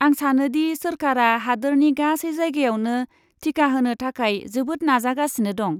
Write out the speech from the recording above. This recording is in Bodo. आं सानो दि सोरखारा हादोरनि गासै जायगायावनो टिका होनो थाखाय जोबोद नाजागासिनो दं।